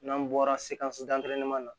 N'an bɔra sekisisidagɛrɛman na